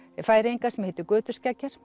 Færeyinga sem heitir